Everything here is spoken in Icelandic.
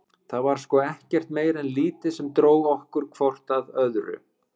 Það var sko ekkert meira en lítið sem dró okkur hvort að öðru.